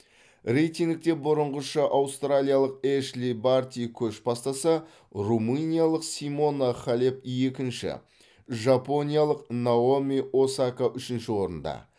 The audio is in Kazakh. рейтингте бұрынғыша аустралиялық эшли барти көш бастаса румыниялық симона халеп екінші жапониялық наоми осака үшінші орында